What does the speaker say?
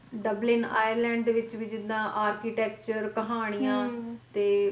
Dublin Ireland ਦੇ ਵਿੱਚ ਵੀ ਜਿੱਦਾਂ architecture ਕਹਾਣੀਆਂ ਤੇ